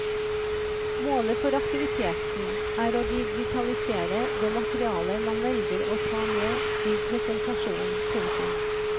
Målet for aktiviteten er å digitalisere det materiale man velger å ta med i presentasjonen. punktum